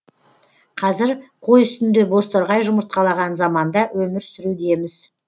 қазір қой үстінде бозторғай жұмыртқалаған заманда өмір сүрудеміз